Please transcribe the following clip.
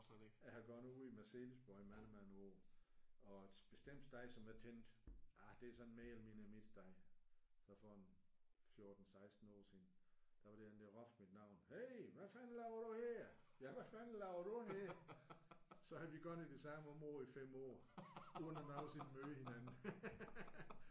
Jeg har gået ude i Marselisborg i mange mange år og et bestemt sted som jeg tænkte ah det er sådan mere eller mindre mit sted så for en 14 16 år siden der var der en der råbte mit navn hey hvad fanden laver du her? Hvad fanden laver du her? Så havde vi gået i det samme område i 5 år uden nogensinde at møde hinanden